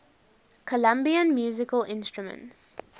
colombian musical instruments